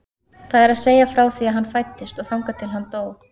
Það er að segja frá því að hann fæddist og þangað til að hann dó.